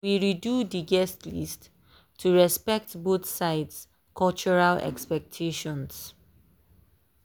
we redo dey guest list to respect both sides cultural expectation for occasions.